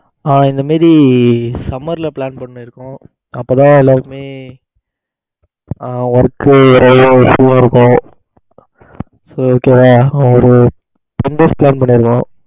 ஆ அது மாதிரி summer ல plan பண்ணி இருக்கோம். அப்ப தான் எல்லாருக்குமே அஹ work நிறைய slow இருக்கும். so okay வா ஒரு ten days plan பண்ணி இருக்கோம்.